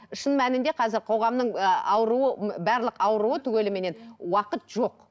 шын мәнінде қазір қоғамның ыыы ауруы ы барлық ауруы түгеліменен уақыт жоқ